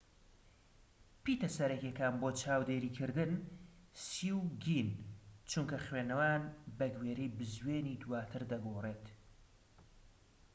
پیتە سەرەکییەکان بۆ چاودێری کردن، سی و گین، چونکە خوێندنەوەیان بەگوێرەی بزوێنی دواتر دەگۆرێت‎